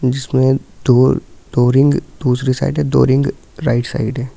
जिसमें दो दो रिंग दूसरी साइड है दो रिंग राइट साइड है।